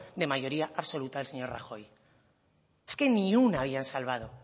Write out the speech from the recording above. de mayoría absoluta del señor rajoy es que ni una habían salvado